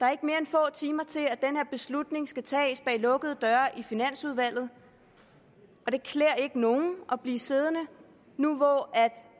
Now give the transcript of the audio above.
er ikke mere end få timer til at den her beslutning skal tages bag lukkede døre i finansudvalget og det klæder ikke nogen at blive siddende nu hvor